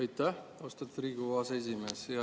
Aitäh, austatud Riigikogu aseesimees!